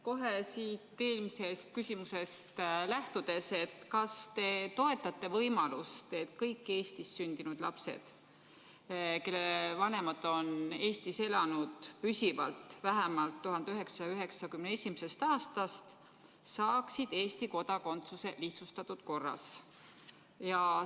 Kohe siit eelmisest küsimusest lähtudes: kas te toetate võimalust, et kõik Eestis sündinud lapsed, kelle vanemad on Eestis püsivalt elanud vähemalt 1991. aastast, saaksid Eesti kodakondsuse lihtsustatud korras?